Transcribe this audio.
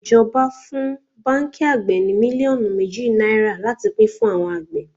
Ijoba fún báńkì àgbè ní mílíọ̀nù méjì náírà láti pín fún àwọn àgbẹ̀.